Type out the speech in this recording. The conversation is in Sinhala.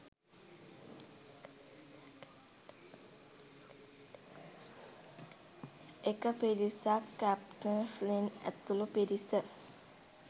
එක පිරිසක් කැප්ටන් ෆ්ලින්ට් ඇතුළු පිරිස